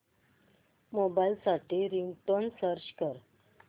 mobile साठी ringtone search कर